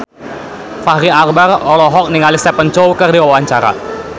Fachri Albar olohok ningali Stephen Chow keur diwawancara